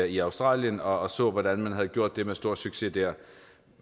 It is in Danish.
i australien og så hvordan man havde gjort det med stor succes der